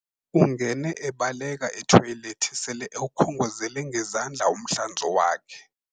Ungene ebaleka ethoyilethi selewukhongozele ngezandla umhlanzo wakhe.